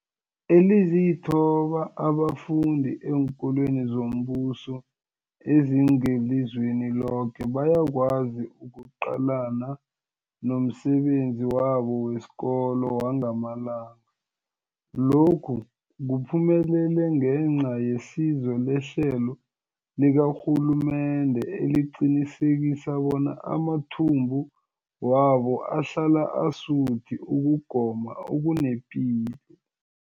Ezilithoba abafunda eenkolweni zombuso ezingelizweni loke bayakwazi ukuqalana nomsebenzi wabo wesikolo wangamalanga. Lokhu kuphumelele ngenca yesizo lehlelo likarhulumende eliqinisekisa bona amathumbu wabo ahlala asuthi ukugoma okunepilo.